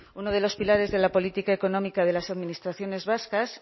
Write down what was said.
uno de los pilares de la política económica de las administraciones vascas